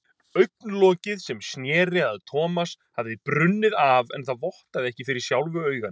Augnlokið sem sneri að Thomas hafði brunnið af en það vottaði ekki fyrir sjálfu auganu.